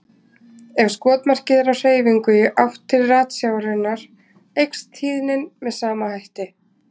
Ef skotmarkið er á hreyfingu í átt til ratsjárinnar eykst tíðnin með sama hætti.